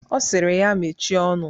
Ọ sịrị ya mechie ọnụ.